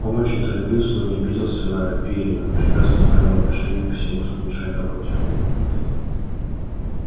он очень торопился но не обиделся на пиренна прекрасно зная его отношение ко всему что мешает работе